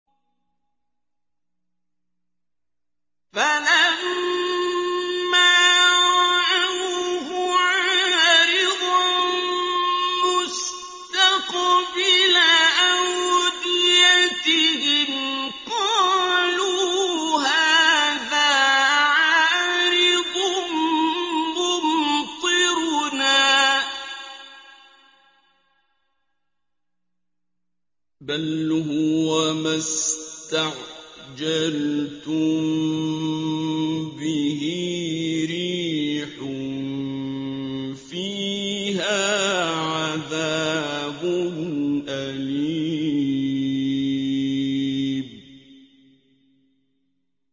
فَلَمَّا رَأَوْهُ عَارِضًا مُّسْتَقْبِلَ أَوْدِيَتِهِمْ قَالُوا هَٰذَا عَارِضٌ مُّمْطِرُنَا ۚ بَلْ هُوَ مَا اسْتَعْجَلْتُم بِهِ ۖ رِيحٌ فِيهَا عَذَابٌ أَلِيمٌ